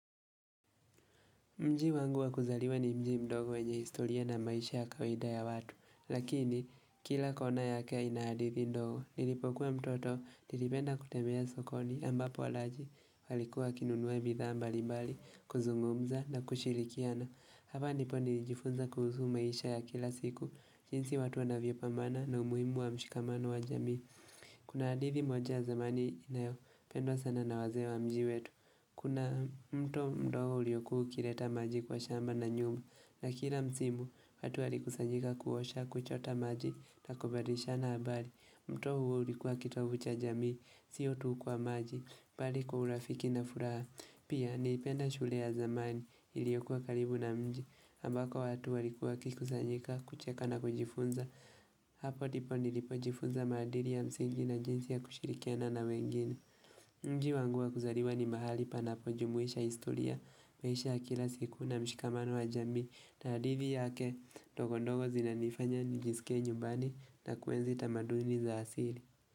Mji wangu wa kuzaliwa ni mji mdogo wenye historia na maisha ya kawida ya watu, lakini kila kona yake ina hadithi ndogo. Nilipokuwa mtoto, nilipenda kutembea sokoni ambapo walaji walikuwa kinunua bidhaa mbalimbali, kuzungumza na kushilikiana. Hapa ndipo nilijifunza kuhusu maisha ya kila siku, jinsi watu wanavyo pambana na umuhimu wa mshikamano wa jamii. Kuna hadithi moja zamani inayo, pendwa sana na waze wa mji wetu. Kuna mto mdogo uliyokuwa ukireta maji kwa shamba na nyumba, na kila msimu, watu walikusanyika kuosha kuchota maji, na kubadilishana habari. Mto huo ulikuwa kitovu cha jamii, sio tu kwa maji, bali kwa urafiki na furaha. Pia, nilipenda shule ya zamani, iliokuwa karibu na mji, ambako watu walikuwa wakikusanyika, kucheka na kujifunza. Hapo ndipo nilipojifunza maadili ya msingi na jinsi ya kushirikiana na wengine. Nji wangu wa kuzaliwa ni mahali panapo jumuisha historia maisha kila siku na mshikamano wa jamii na hadithi yake ndogo ndogo zina nifanya nijisike nyumbani na kuenzi tamaduni za asili.